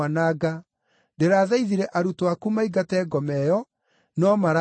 Ndĩrathaithire arutwo aku maingate ngoma ĩyo, no mararemwo.”